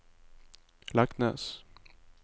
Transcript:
Leknes